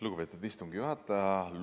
Lugupeetud istungi juhataja!